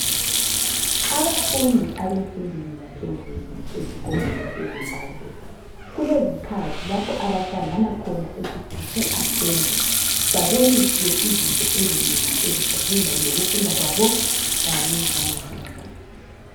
Abafundi bemfundo yaphezulu eZimbabwe, kuelezikhathi abahlangana khona esithi kuse assembly, baboniswe izinto ezinengi eziphathelane lokufunda kwabo kanye langempilo zabo